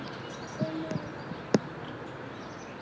Við munum allir sakna hans.